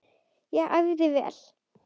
Ég æfði vel.